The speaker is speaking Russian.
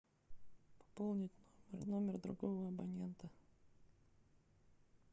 пополнить номер другого абонента